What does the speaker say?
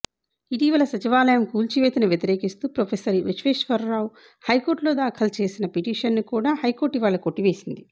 ఇటీవల సచివాలయం కూల్చివేతను వ్యతిరేకిస్తూ ప్రొఫెసర్ విశ్వేశ్వరరావు హైకోర్టులో దాఖలు చేసిన పిటిషన్ ను కూడా హైకోర్టు ఇవాళ కొట్టివేసింది